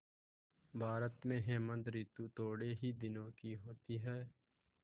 भारत में हेमंत ॠतु थोड़े ही दिनों की होती है